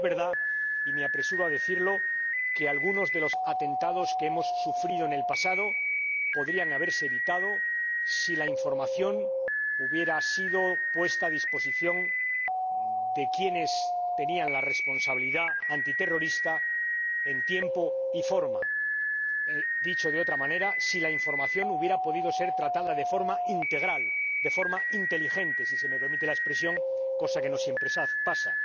Es verdad —y me apresuro a decirlo— que algunos de los atentados que hemos sufrido en el pasado podrían haberse evitado si la información se hubiera puesto a disposición de quienes tenían la responsabilidad antiterrorista en tiempo y forma, dicho de otra manera, si la información se hubiera podido tratar de forma integral, de forma inteligente —si se me permite la expresión—, cosa que no siempre pasa.